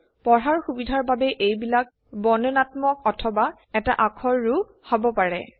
পঢ়াৰ সুবিধাৰ বাবে এইবিলাক বৰ্ণনাত্মক অথবা এটা আখৰৰো হব পাৰে